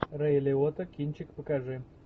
рэй лиотта кинчик покажи